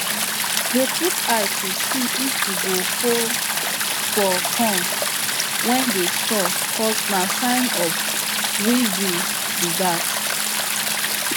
dey put eye to see if you go holes for corn wey dey store cos na sign of weevil be that